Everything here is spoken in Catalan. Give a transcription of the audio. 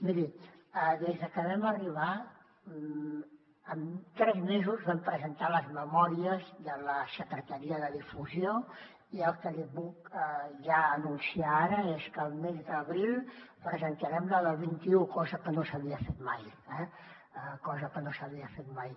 miri des de que vam arribar amb tres mesos vam presentar les memòries de la secretaria de difusió i el que li puc ja anunciar ara és que el mes d’abril presentarem la del vint un cosa que no s’havia fet mai eh cosa que no s’havia fet mai